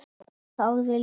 Jón þagði líka.